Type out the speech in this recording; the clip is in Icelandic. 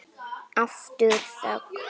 Aftur þögn.